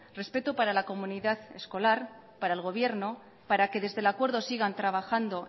respeto para la comunidad escolar para el gobierno para que desde el acuerdo sigan trabajando